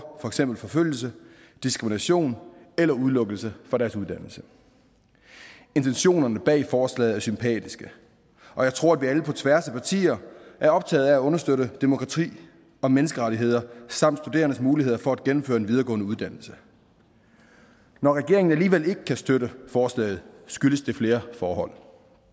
eksempel forfølgelse diskrimination eller udelukkelse fra deres uddannelse intentionerne bag forslaget er sympatiske og jeg tror at vi alle på tværs af partier er optagede af at understøtte demokrati og menneskerettigheder samt studerendes muligheder for at gennemføre en videregående uddannelse når regeringen alligevel ikke kan støtte forslaget skyldes det flere forhold